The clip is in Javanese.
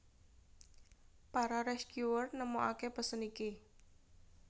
Para Rescuers nemokaké pesen iki